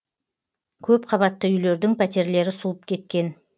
көпқабатты үйлердің пәтерлері суып кеткен